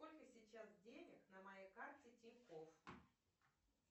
сколько сейчас денег на моей карте тинькофф